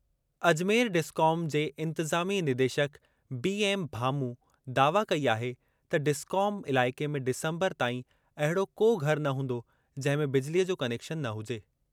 Ajmer discom जे इंतिज़ामी निदेशकु बी एम भामू दावा कई आहे त डिस्कॉम इलाइक़े में डिसंबर ताईं अहिड़ो को घर न हूंदो जंहिं में बिजलीअ जो कनेक्शन न हुजे।